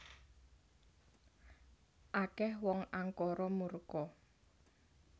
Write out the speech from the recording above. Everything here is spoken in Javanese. Akeh wong angkara murka